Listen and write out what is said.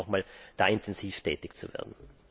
Ich ersuche Sie nochmals, da intensiv tätig zu werden.